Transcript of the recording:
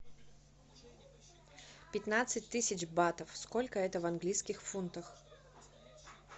пятнадцать тысяч батов сколько это в английских фунтах